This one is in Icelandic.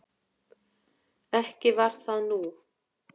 Ekki var það nú.